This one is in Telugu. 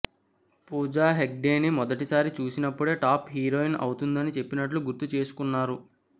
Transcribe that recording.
పూజా హెగ్డేని మొదటిసారి చూసినప్పుడే టాప్ హీరోయిన్ అవుతుందని చెప్పినట్లు గుర్తు చేసుకున్నారు